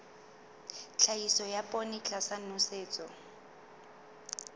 tlhahiso ya poone tlasa nosetso